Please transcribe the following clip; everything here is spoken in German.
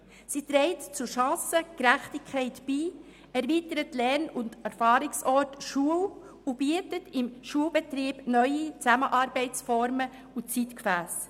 Sie trägt zur Chancengerechtigkeit bei, erweitert den Lern- und Erfahrungsort Schule und ermöglicht im Schulbetrieb neue Formen der Zusammenarbeit und neue Zeitgefässe.